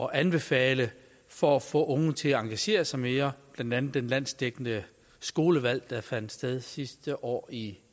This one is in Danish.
at anbefale for at få unge til at engagere sig mere blandt andet det landsdækkende skolevalg der fandt sted sidste år i